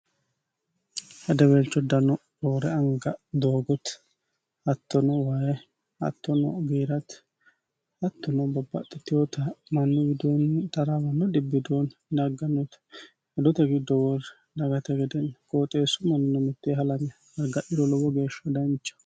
hadeweelicho dano roore anga doogoti hattono wayi, hattono giirati hattona bobbaxxitehota mannu widoonni taraawanno dibbi widooni daggannota hodote giddo worre dagate gedenni gooxeessu manino mitteeni halame agadhiro lowo geeshsha dancha